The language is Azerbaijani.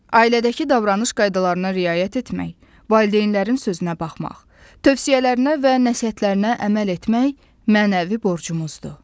Ailədəki davranış qaydalarına riayət etmək, valideynlərin sözünə baxmaq, tövsiyələrinə və nəsihətlərinə əməl etmək mənəvi borcumuzdur.